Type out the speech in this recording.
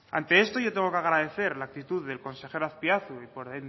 ante esto yo tengo que agradecer la actitud del consejero azpiazu y por